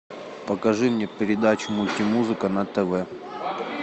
покажи мне передачу мультимузыка на тв